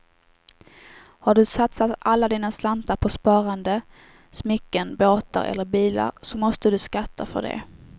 Har du satsat alla dina slantar på sparande, smycken, båtar eller bilar så måste du skatta för det.